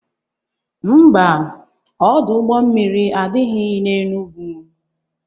Ḿbà, Ọdụ ụgbọ mmiri adịghị na Enugwu.